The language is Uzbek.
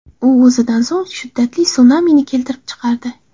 U o‘zidan so‘ng shiddatli sunamini keltirib chiqardi.